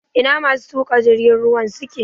Ina masu tuƙa jirgin ruwan suke?